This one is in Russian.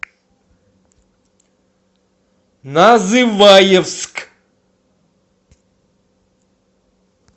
называевск